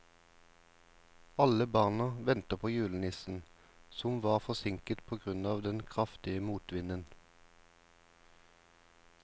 Alle barna ventet på julenissen, som var forsinket på grunn av den kraftige motvinden.